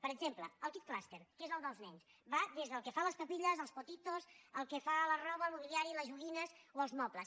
per exemple el kid’s cluster que és el dels nens va des del que fa les papilles els potitosque fa la roba el mobiliari les joguines o els mobles